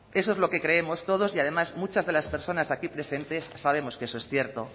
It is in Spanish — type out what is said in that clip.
eso es lo que creemos todos y además muchas de las personas aquí presentes sabemos que eso es cierto